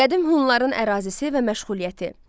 Qədim Hunların ərazisi və məşğuliyyəti.